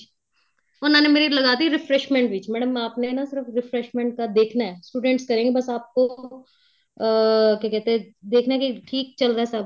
ਉਹਨਾ ਨੇ ਮੇਰੀ ਲਗਾ ਤੀ refreshment ਵਿੱਚ madam ਆਪ ਨੇ ਸਿਰਫ refreshment ਕਾ ਦੇਖਣਾ students ਕਰਨ ਗਏ ਬੱਸ ਆਪ ਕੋ ਅਹ ਕਿਆ ਕਹਿਤੇ ਏ ਦੇਖਣਾ ਕੇ ਠੀਕ ਚੱਲ ਰਹਾ ਹੈ ਸਭ